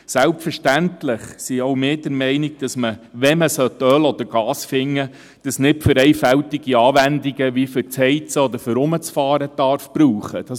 Selbstverständlich sind auch wir der Meinung, dass, sollte man Öl oder Gas finden, dies nicht für einfältige Anwendungen wie Heizen oder fürs Herumfahren gebraucht werden darf.